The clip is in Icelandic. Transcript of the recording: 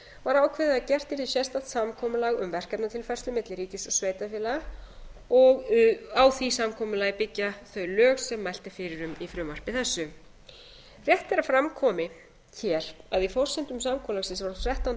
var ákveðið að gert yrði sérstakt samkomulag um verkefnatilfærslu milli ríkis og sveitarfélaga og á því samkomulagi byggja þau lög sem mælt er fyrir um í frumvarpi þessu rétt er að fram komi hér að í forsendum samkomulagsins frá þrettánda